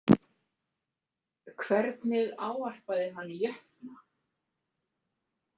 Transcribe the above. Hvernig ávarpaði hann jötna?